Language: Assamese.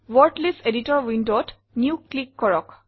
ৱৰ্ড লিষ্ট এডিটৰ windowত নিউ ক্লিক কৰক